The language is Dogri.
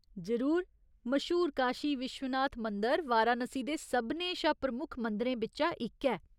जरूर। मश्हूर काशी विश्वनाथ मंदर वाराणसी दे सभनें शा प्रमुक्ख मंदिरें बिच्चा इक ऐ।